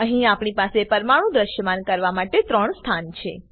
અહી આપણી પાસે પરમાણુ દ્રશ્યમાન કરવા માટે 3 સ્થાન છે